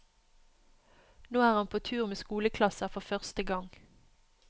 Nå er han på tur med skoleklasser for første gang.